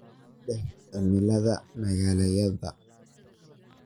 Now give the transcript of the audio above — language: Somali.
dheh cimilada magaaladayada